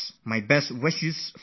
My best wishes to you all